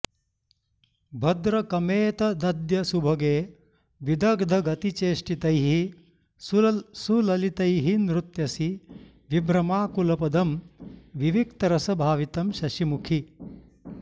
भद्रकमेतदद्य सुभगे विदग्धगतिचेष्टितैः सुललितैः नृत्यसि विभ्रमाकुलपदं विविक्तरसभावितं शशिमुखि